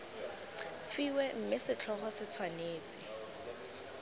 fiwe mme setlhogo se tshwanetse